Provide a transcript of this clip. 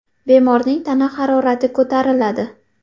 Bemorning tana harorati ko‘tariladi.